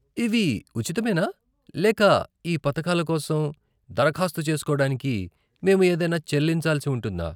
ఇవి ఉచితమేనా లేక ఈ పథకాల కోసం దరఖాస్తు చేసుకోవడానికి మేము ఏదైనా చెల్లించాల్సి ఉంటుందా?